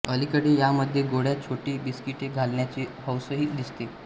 अलीकडे यामधे गोळ्या छोटी बिस्किटे घालण्याची हौसही दिसते